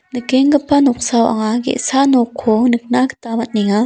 nikenggipa noksao anga ge·sa nokko nikna gita man·enga.